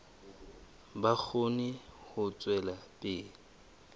ba kgone ho tswela pele